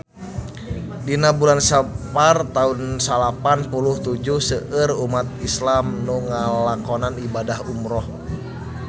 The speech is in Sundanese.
Dina bulan Sapar taun salapan puluh tujuh seueur umat islam nu ngalakonan ibadah umrah